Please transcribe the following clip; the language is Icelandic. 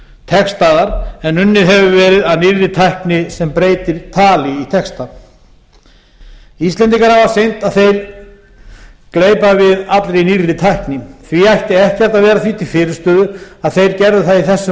textaðar en unnið hefur verið að nýrri tækni sem breytir tali í texta íslendingar hafa sýnt að þeir gleypa við allri nýrri tækni því ætti ekkert að vera því til fyrirstöðu að þeir gerðu það í þessu máli